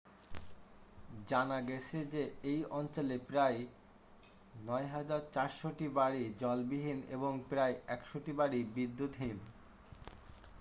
জানা গেছে যে এই অঞ্চলে প্রায় 9400টি বাড়ি জলবিহীন এবং প্রায় 100টি বাড়ি বিদ্যুৎবিহীন